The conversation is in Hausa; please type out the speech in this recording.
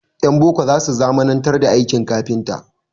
Ƴan boko za su zamanantar da aikin kafinta.